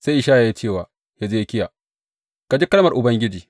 Sai Ishaya ya ce wa Hezekiya, Ka ji kalmar Ubangiji.